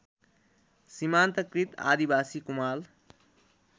सिमान्तकृत आदिवासी कुमाल